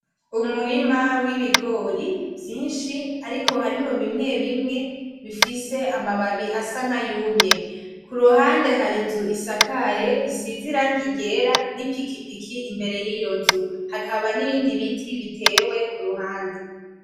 Umurima wibigori vyinshi ariko harimwo bimwebimwe bifise amababi asa nkayumye kuruhande hari inzu isakaye isize irangi ryera nipikipiki imbere yiyonzu, hakaba nibindi biti bitewe kuruhande .